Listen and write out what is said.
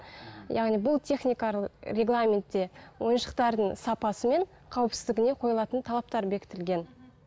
яғни бұл техникалық регламентте ойыншықтардың сапасы мен қауіпсіздігіне қойылатын талаптар бекітілген